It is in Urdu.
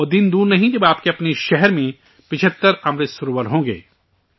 وہ دن دور نہیں جب آپ کے اپنے شہر میں 75 امرت سروور ہوں گے